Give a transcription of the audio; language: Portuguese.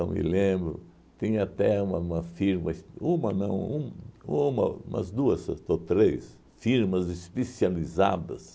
Eu me lembro, tinha até uma uma firma es, uma não, um uma umas duas ou to três firmas especializadas